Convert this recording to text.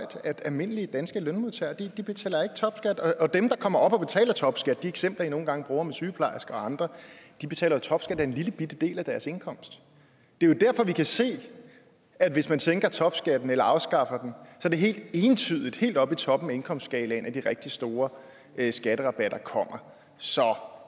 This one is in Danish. at almindelige danske lønmodtagere ikke betaler topskat og dem der kommer op og betaler topskat de eksempler man nogle gange bruger med sygeplejersker og andre betaler topskat af en lillebitte del af deres indkomst det er jo derfor vi kan se at hvis man sænker topskatten eller afskaffer den er det helt entydigt helt oppe i toppen af indkomstskalaen at de rigtig store skatterabatter kommer så